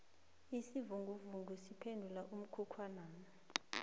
isivinguvungu siphephule umkhukhwanami